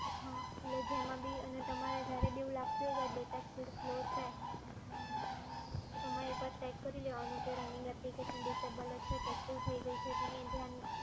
હા, એટલે એમાં ભી લાગતું હોય કે data speed slow છે, તો તમારે એક વાર check કરી લેવાનું કે running application disable છે કે શું થઈ ગઈ છે તેની જાણ